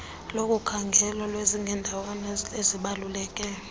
lokukhangelwa lweziqendawana ezibaluleke